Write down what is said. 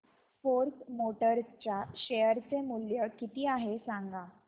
force Motors च्या share चे मूल्य किती आहे सांगा